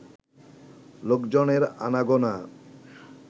লোকজনের আনাগোনা